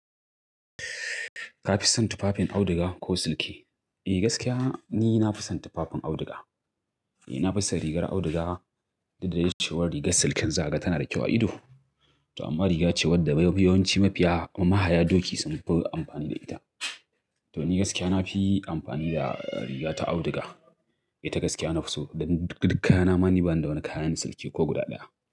Ka fi son tufafin auduga ko silki? Eh gaskiya ni na fi son tufafin auduga. Eh na fi son rigar auduga, dud da dai cewar rigar silkin zaga tana da kyau a ido. To amma riga ce wadda mafiya yawanci mafiya mahaya doki sun fi amfani da ita. To ni gaskiya na fi amfani da riga ta auduga. Eh ta gaskiya na fi so, dan duk kayana ma ni bani da wani kayan silki ko guda ɗaya.